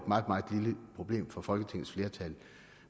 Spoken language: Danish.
meget meget lille problem for folketingets flertal